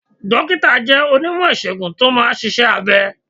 Dókítà jẹ́ onímọ̀ ìsègùn tó máa ń ṣiṣẹ́ abẹ